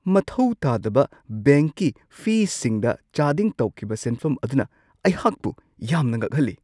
ꯃꯊꯧ ꯇꯥꯗꯕ ꯕꯦꯡꯛꯀꯤ ꯐꯤꯁꯤꯡꯗ ꯆꯥꯗꯤꯡ ꯇꯧꯈꯤꯕ ꯁꯦꯟꯐꯝ ꯑꯗꯨꯅ ꯑꯩꯍꯥꯛꯄꯨ ꯌꯥꯝꯅ ꯉꯛꯍꯜꯂꯤ ꯫